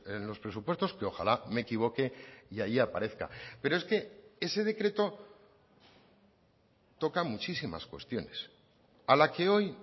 en los presupuestos que ojalá me equivoque y ahí aparezca pero es que ese decreto toca muchísimas cuestiones a la que hoy